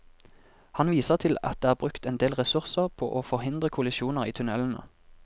Han viser til at det er brukt endel ressurser på å forhindre kollisjoner i tunnelene.